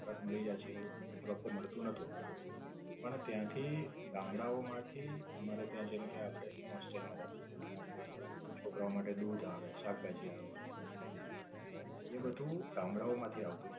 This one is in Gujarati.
તરત મળી જાય છે એવું એ વખતે મળતું નોતું. પણ, ત્યાંથી ગામડાંઓ માંથી અમારે ત્યાં જેમકે એક હોસ્ટેલ માં રેતો હતો એટલે આપડે જે છોકરાઓ માટે દૂધ આવે, શાકભાજી આવે જે જમવા માટે. એ બધું ગામડાંઓ માંથી આવતું હતું.